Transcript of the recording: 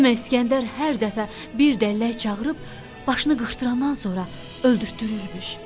Demək İskəndər hər dəfə bir dəllək çağırıb başını qırxdırandan sonra öldürtdürürmüş.